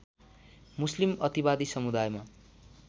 मुस्लिम अतिवादी समुदायमा